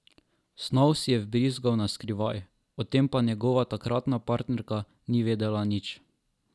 Snov si je vbrizgal naskrivaj, o tem pa njegova takratna partnerka ni vedela nič.